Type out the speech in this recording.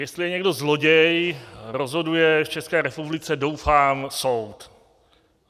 Jestli je někdo zloděj, rozhoduje v České republice, doufám, soud.